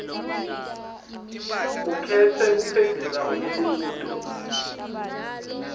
ukhetse kuphendvula umbuto